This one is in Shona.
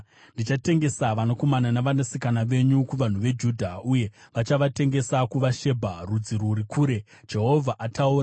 Ndichatengesa vanakomana navanasikana venyu kuvanhu veJudha, uye vachavatengesa kuvaShebha, rudzi rwuri kure.” Jehovha ataura.